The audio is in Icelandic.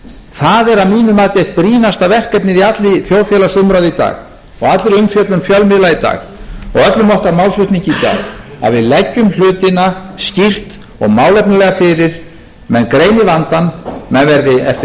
það er að mínu mati eitt það brýnasta verkefnið í allri þjóðfélagsumræðu í dag og allri umfjöllun fjölmiðla í dag og öllum okkar málflutningi í dag að við leggjum hlutina skýrt og málefnalega fyrir menn greini vandann menn verði eftir